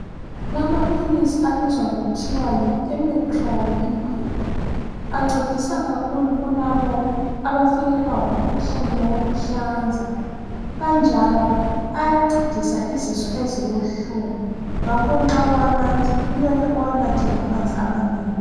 kulama philisi abizwa kuthiwa yi Emetrol Liquid ancedisa kakhulu kulabo abafikelwa ngumkhuhlane woku hlanza kanjalo awancedisa izisu ezibuhlungu ngakho mauwanatha mele uwanathe lamanzi amanengi